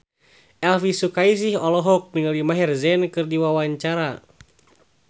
Elvi Sukaesih olohok ningali Maher Zein keur diwawancara